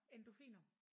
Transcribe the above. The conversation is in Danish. Endorfiner?